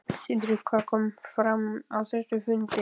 Sindri: Hvað kom fram á þessum fundi?